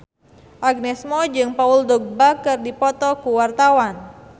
Agnes Mo jeung Paul Dogba keur dipoto ku wartawan